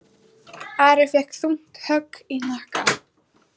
Ari fékk þungt högg í hnakkann.